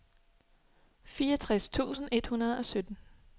fireogtres tusind et hundrede og sytten